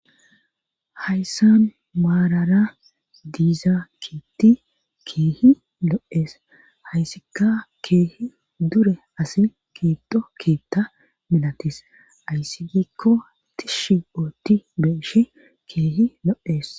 Hayssan maarara diiza kiitti keehi lo'ees hayssika keehi dure asi kiitto keetta milatis ayssi gikko tishshi ootti be'eshshi keehi lo'ees